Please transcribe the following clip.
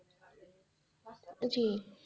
জী,